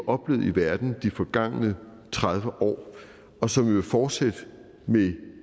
oplevet i verden de forgangne tredive år og som jo vil fortsætte med